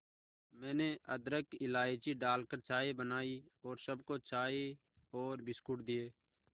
मैंने अदरक इलायची डालकर चाय बनाई और सबको चाय और बिस्कुट दिए